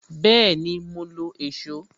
Bẹẹni, mo lo èsó